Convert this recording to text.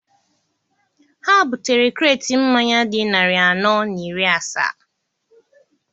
Ha butere kreti mmanya dị narị anọ na iri asaa.